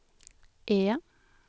E